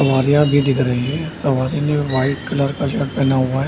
सवारियां भी दिख रही है सवारी ने व्हाइट कलर का शर्ट पहना हुआ है।